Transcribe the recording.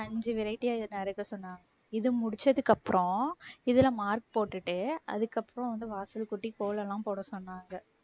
அஞ்சு variety ஆ இதை நறுக்க சொன்னாங்க. இது முடிச்சதுக்கு அப்புறம் இதுல mark போட்டுட்டு அதுக்கப்புறம் வந்து வாசலை கூட்டி கோலம் எல்லாம் போட சொன்னாங்க.